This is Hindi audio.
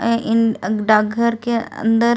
इन डाग घर के अंदर--